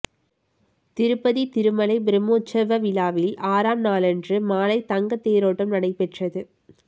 திருப்பதி திருமலை பிரம்மோற்சவ விழாவின் ஆறாம் நாளன்று மாலை தங்க தேரோட்டம் நடைபெற்றது